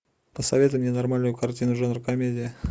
посоветуй мне нормальную картину жанр комедия